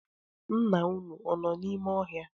Nna unu, ọ nọ n’ime ọhịa?